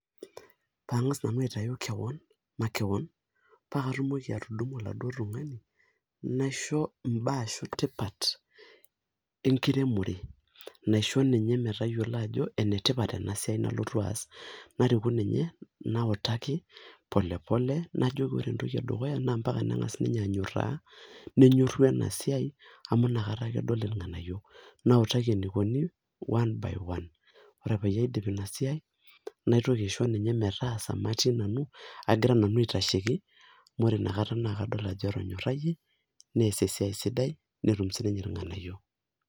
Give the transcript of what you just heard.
Kangas nanu aitau kewon, makewon paa katumoki atudumu oladuo tungani naisho imbaa etipat enkiremore naisho ninye metayiolo ajo ene tipat ena siai nalotu aas, nariku ninye nautaki pole pole najoki ore entoki edukuya naa mpaka nengas ninye anyoraa, nenyoru ena siai amu ina kata ake edol irnganayio nautaki enikoni one by one . Ore peyie aidip ina siai , naitoki aisho ninye metaasa matii nanu agira nanu aitasheiki amu ore inakata naa kaol ajo etonyorayie , neas esiai siai netum sininye irnganayio.